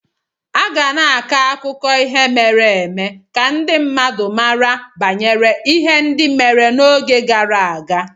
A ga na-akọ akụkọ ihe mere eme ka ndị mmadụ mara banyere ihe ndị mere n'oge gara aga